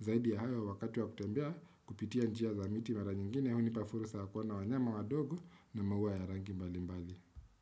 Zaidi ya hayo wakati wa kutembea kupitia njia za miti mara nyingine Unipafurusa ya kuona wanyama wadogo na maua ya rangi mbali mbali.